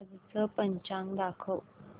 आजचं पंचांग दाखव